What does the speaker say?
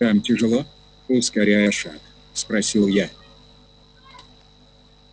там тяжело ускоряя шаг спросил я